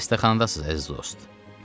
Xəstəxanadasız, əziz dost.